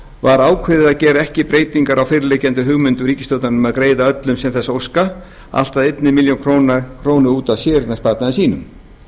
var ákveðið að gera ekki breytingar á fyrirliggjandi hugmyndum ríkisstjórnarinnar um að greiða öllum sem þess óska allt að einni milljón króna út af séreignarsparnaði sínum